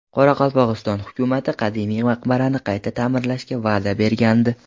Qoraqalpog‘iston hukumati qadimiy maqbarani qayta ta’mirlashga va’da bergandi.